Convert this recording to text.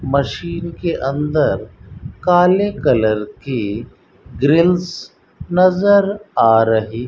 machine के अंदर काले कलर की ग्रिल्स नजर आ रही --